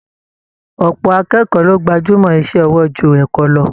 Ọ̀pọ̀ akẹ́kọ̀ọ́ ló gbajúmọ́ iṣẹ́ ọwọ́ ju ẹ̀kọ́ lọ